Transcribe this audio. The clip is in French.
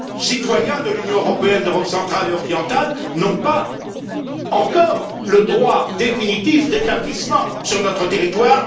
les citoyens de l'Union européenne d'Europe centrale et orientale n'ont pas encore le droit définitif d'établissement sur notre territoire.